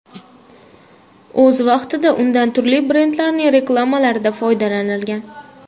O‘z vaqtida undan turli brendlarning reklamalarida foydalanilgan.